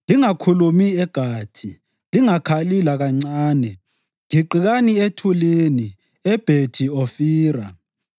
Lingakukhulumi eGathi; lingakhali lakancane. Giqikani ethulini eBhethi Ofira.